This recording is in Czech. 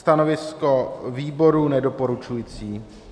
Stanovisko výboru: nedoporučující.